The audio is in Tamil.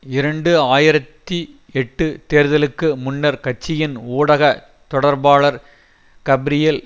இரண்டு ஆயிரத்தி எட்டு தேர்தலுக்கு முன்னர் கட்சியின் ஊடக தொடர்பாளர் கப்ரியல்